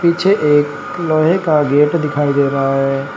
पीछे एक लोहे का गेट दिखाई दे रहा है।